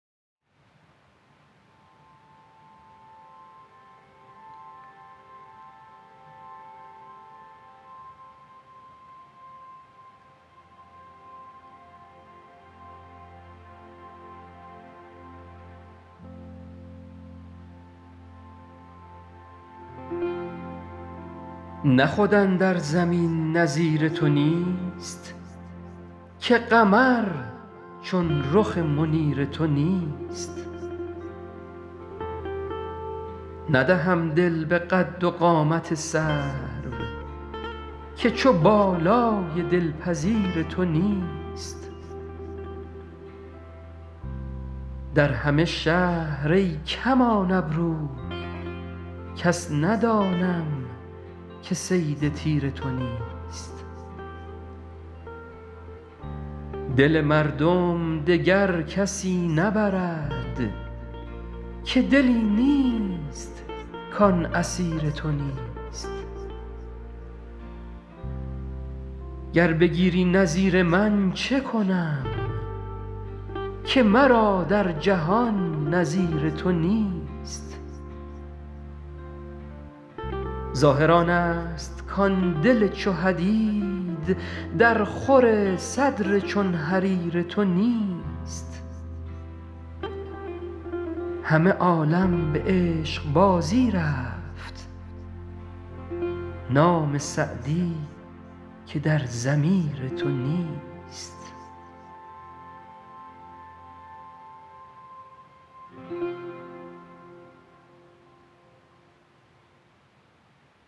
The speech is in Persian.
نه خود اندر زمین نظیر تو نیست که قمر چون رخ منیر تو نیست ندهم دل به قد و قامت سرو که چو بالای دلپذیر تو نیست در همه شهر ای کمان ابرو کس ندانم که صید تیر تو نیست دل مردم دگر کسی نبرد که دلی نیست کان اسیر تو نیست گر بگیری نظیر من چه کنم که مرا در جهان نظیر تو نیست ظاهر آنست کان دل چو حدید درخور صدر چون حریر تو نیست همه عالم به عشقبازی رفت نام سعدی که در ضمیر تو نیست